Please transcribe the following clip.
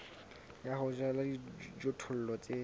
ya ho jala dijothollo tse